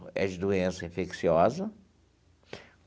É de doença infecciosa.